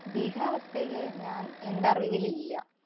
ഭീകരാവസ്ഥയില് ഞാന്‍ എന്‍റെ അറിവിലില്ല.